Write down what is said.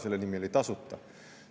See oli "Tasuta".